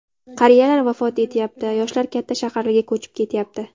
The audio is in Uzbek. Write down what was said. Qariyalar vafot etyapti, yoshlar katta shaharlarga ko‘chib ketyapti.